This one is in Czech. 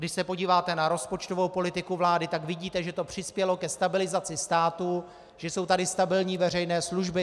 Když se podíváte na rozpočtovou politiku vlády, tak vidíte, že to přispělo ke stabilizaci státu, že jsou tady stabilní veřejné služby.